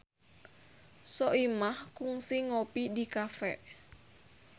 Soimah kungsi ngopi di cafe